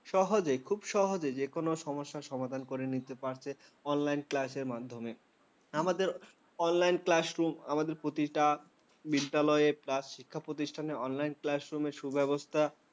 সহজে খুব সহজেই যে কোনো সমস্যার সমাধান করে নিতে পারছে online class মাধ্যমে। আমাদের online classroom আমাদের প্রতিটা বিদ্যালয়ে বা শিক্ষা প্রতিষ্ঠানে online classroom র সুব্যবস্থা